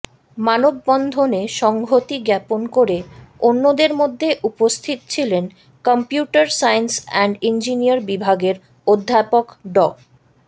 মানববন্ধনে সংহতি জ্ঞাপন করে অন্যদের মধ্যে উপস্থিত ছিলেন কম্পিউটার সায়েন্স অ্যান্ড ইঞ্জিনিয়ার বিভাগের অধ্যাপক ড